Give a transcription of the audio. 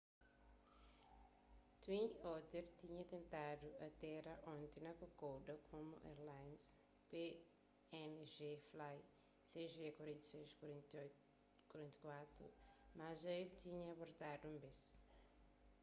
twin otter tinha tentadu atéra onti na kokoda komu airlines png flight cg4684 mas dja el tinha abortadu un bes